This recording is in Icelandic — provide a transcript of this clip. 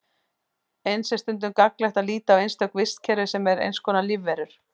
Eins er stundum gagnlegt að líta á einstök vistkerfi sem eins konar lífverur.